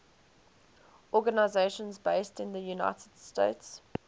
organizations based in the united states